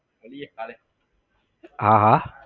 હા હા